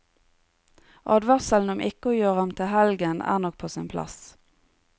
Advarselen om ikke å gjøre ham til en helgen er nok på sin plass.